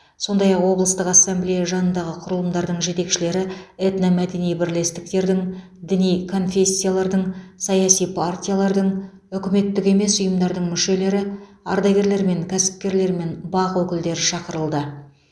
сондай ақ облыстық ассамблея жанындағы құрылымдардың жетекшілері этномәдени бірлестіктердің діни конфессиялардың саяси партиялардың үкіметтік емес ұйымдардың мүшелері ардагерлер мен кәсіпкерлер мен бақ өкілдері шақырылды